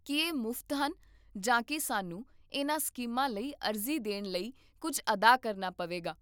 ਕੀ ਇਹ ਮੁਫ਼ਤ ਹਨ ਜਾਂ ਕੀ ਸਾਨੂੰ ਇਹਨਾਂ ਸਕੀਮਾਂ ਲਈ ਅਰਜ਼ੀ ਦੇਣ ਲਈ ਕੁੱਝ ਅਦਾ ਕਰਨਾ ਪਵੇਗਾ?